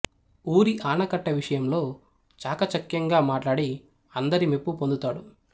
ఊరి ఆనకట్ట విషయంలో చాకచక్యంగా మాట్లాడి అందరి మెప్పు పొందుతాడు